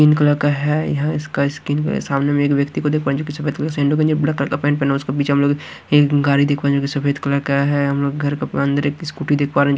Pink colour का है यह इसका स्किन के सामने में एक व्यक्ति सैंडो गंजी ब्लैक कलर का पैंट पहना है उसके पीछे हमलोग एक गाड़ी जो सफेद कलर का है हम लोग घर के एक अंदर स्कूटी देख पा रहे हैं।